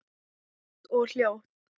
Hægt og hljótt.